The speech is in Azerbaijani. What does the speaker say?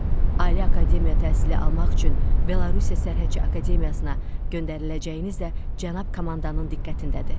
Ali akademiya təhsili almaq üçün Belarusiyya Sərhədçi Akademiyasına göndəriləcəyiniz də cənab komandanın diqqətindədir.